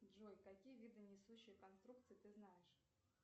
джой какие виды несущей конструкции ты знаешь